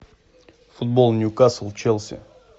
футбол ньюкасл челси